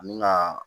Ani ka